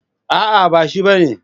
A'a ba shi bane.